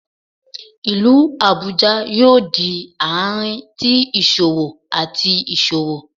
Ilu Abuja yoo di aarin ti iṣowo ati iṣowo